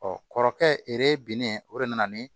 kɔrɔkɛ binnen o de nana ni